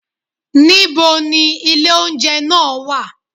Ní bo ni ilé oúnjẹ nàà wà?